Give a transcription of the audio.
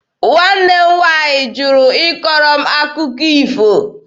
Nwanne m nwaanyị jụrụ ịkọrọ m akụkọ ifo.